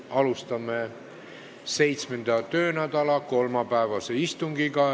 Alustame 7. töönädala kolmapäevast istungit.